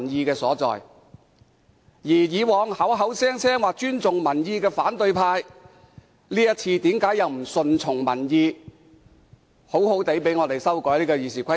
反對派過往口口聲聲表示尊重民意，這次為何不順從民意，讓我們好好修改《議事規則》？